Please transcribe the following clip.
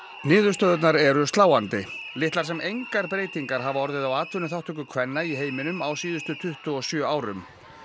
niðurstöðurnar eru sláandi litlar sem engar breytingar hafa orðið á atvinnuþátttöku kvenna í heiminum á síðustu tuttugu og sjö árum